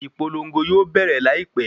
Ìpolongo yóò bẹ̀rẹ̀ láìpé.